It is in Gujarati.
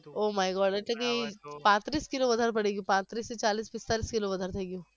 oh my god એટલે કી પાત્રીસ કિલો વધારે બની ગયુ પાત્રીસ થી ચાલીસ પિસ્તાલીસ કિલો વધારે થઈ ગયુ